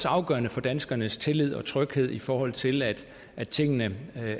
afgørende for danskernes tillid og tryghed i forhold til at at tingene